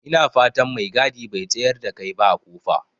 Ina fatan mai gadi bai tsayar da kai ba a kofa?